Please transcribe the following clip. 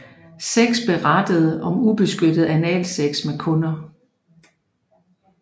Seks berettede om ubeskyttet analsex med kunder